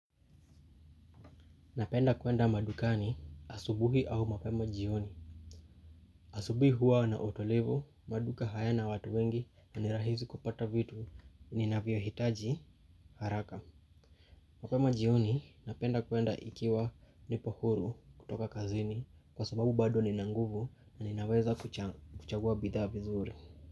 Napenda kwenda madukani asubuhi au mapema jioni. Asubuhi huwa na utulivu, maduka hayana watu wengi na ni rahisi kupata vitu ni ninavyohitaji haraka. Mapema jioni napenda kwenda ikiwa nipo huru kutoka kazini kwa sababu bado nina nguvu na ninaweza kuchagua bidhaa vizuri.